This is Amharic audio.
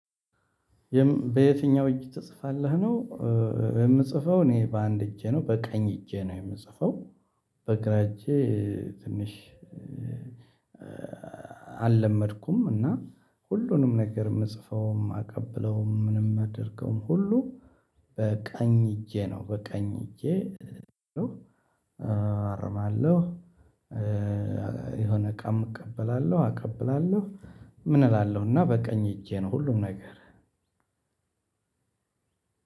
በየትኛው እጅ ትጽፋለህ ነው? የምጽፈው እኔ በአንድ እጄ ነው በቀኝ እጄ ነው የምጽፈው። በግራ እጄ ትንሽ አለመድኩም እና ሁሉንም ነገር የምጽፈውም ማቀብለውም ምንም ማደርገውም ሁሉ በቀኝ እጄ ነው በቀኝ እጄ። አርማለሁ የሆነ እቃም እቀበላለሁ አቀብላለሁ። ምን እላለሁ እና በቃኝ እጄ ነው ሁሉም ነገር።